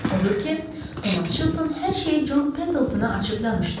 Odur ki, Tomas Çilton hər şeyi Con Pendaltona açıb danışdı.